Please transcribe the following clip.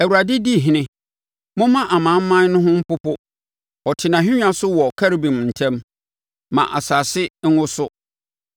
Awurade di ɔhene, momma amanaman no ho mpopo; ɔte nʼahennwa so wɔ Kerubim ntam, ma asase nwoso.